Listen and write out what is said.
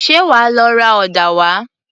Ṣé wàá lọ ra ọ̀dà wá?